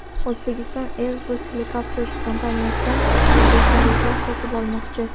O‘zbekiston Airbus Helicopters kompaniyasidan vertolyotlar sotib olmoqchi.